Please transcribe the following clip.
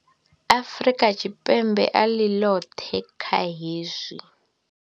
Afrika Tshipembe a ḽi ḽoṱhe kha hezwi.